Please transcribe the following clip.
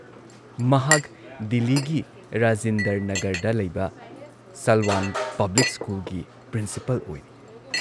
ꯃꯍꯥꯛ ꯗꯤꯜꯂꯤꯒꯤ ꯔꯥꯖꯤꯟꯗꯔ ꯅꯥꯒꯔꯗ ꯂꯩꯕ ꯁꯥꯜꯋꯥꯟ ꯄꯕ꯭ꯂꯤꯛ ꯁ꯭ꯀꯨꯜꯒꯤ ꯄ꯭ꯔꯤꯟꯁꯤꯄꯥꯜ ꯑꯣꯏꯔꯤ ꯫